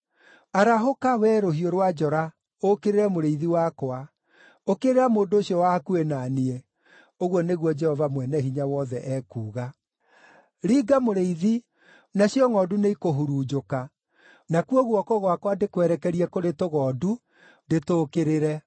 “Arahũka, wee rũhiũ rwa njora, ũũkĩrĩre mũrĩithi wakwa, ũkĩrĩra mũndũ ũcio wa hakuhĩ na niĩ!” ũguo nĩguo Jehova Mwene-Hinya-Wothe ekuuga. “Ringa mũrĩithi, nacio ngʼondu nĩikũhurunjũka, nakuo guoko gwakwa ndĩkwerekerie kũrĩ tũgondu, ndĩtũũkĩrĩre.”